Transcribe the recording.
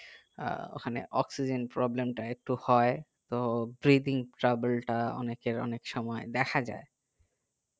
আহ ওখানে oxygen problem তা একটু হয় তো breathing travel তা অনেকের অনেক সময় দেখা যাই